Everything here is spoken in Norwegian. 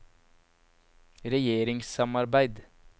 regjeringssamarbeid